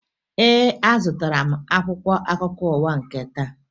Ee, azụtara m akwụkwọ akụkọ ụwa nke taa